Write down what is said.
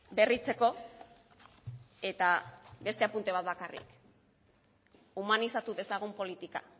berritzeko eta beste apunte bat bakarrik humanizatu dezagun politika